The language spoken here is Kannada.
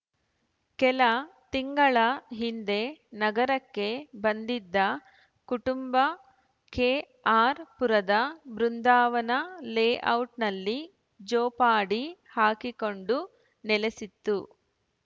ಕೆಲ ತಿಂಗಳ ಹಿಂದೆ ನಗರಕ್ಕೆ ಬಂದಿದ್ದ ಕುಟುಂಬ ಕೆಆರ್‌ಪುರದ ಬೃಂದಾವನ ಲೇಔಟ್‌ನಲ್ಲಿ ಜೋಪಾಡಿ ಹಾಕಿಕೊಂಡು ನೆಲೆಸಿತ್ತು